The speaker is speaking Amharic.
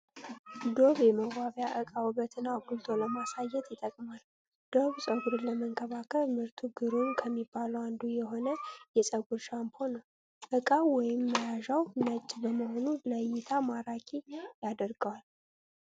"ዶቭ" የመዋቢያ እቃ ዉበትን አጉልቶ ለማሳየት ይጠቅማል። ዶቭ ፀጉርን ለመንከባከብ ምርቱ ግሩም ከሚባሉት አንዱ የሆነ የፀጉር ሻምፖ ነዉ። እቃዉ ወይም መያዣዉ ነጭ በመሆኑ ለእይታ ማራኪ ያደርገዋል።